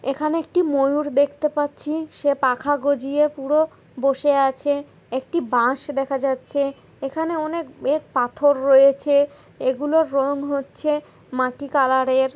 এখানে একটি ময়ূর দেখতে পাচ্ছি সে পাখা গজিয়ে পুরো বসে আছে একটি বাস দেখা যাচ্ছে এখানে অনেক পাথর রয়েছে এগুলোর রং হচ্ছে মাটি কালার এর।